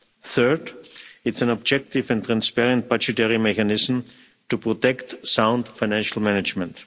Third, it's an objective and transparent budgetary mechanism to protect sound financial management.